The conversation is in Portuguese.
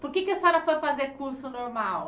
Por que é que a senhora foi fazer curso normal?